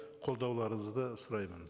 қолдауларыңызды сұраймын